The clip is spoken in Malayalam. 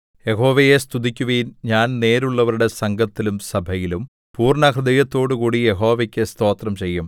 യഹോവയെ സ്തുതിക്കുവിൻ ഞാൻ നേരുള്ളവരുടെ സംഘത്തിലും സഭയിലും പൂർണ്ണഹൃദയത്തോടുകൂടി യഹോവയ്ക്കു സ്തോത്രം ചെയ്യും